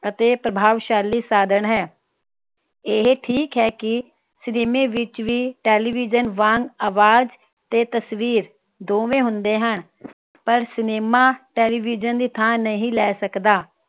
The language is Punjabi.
ਅਤੇ ਪ੍ਰਭਾਵਸ਼ਾਲੀ ਸਾਧਣ ਹੈ ਇਹ ਠੀਕ ਹੈ ਕਿ cinema ਵਿਚ ਵੀ television ਵਾਂਗ ਅਵਾਜ ਤੇ ਤਸਵੀਰ ਦੋਵੇਂ ਹੁੰਦੇ ਹਨ ਪਰ cinema television ਦੀ ਥਾਂ ਨਹੀਂ ਲੈ ਸਕਦਾ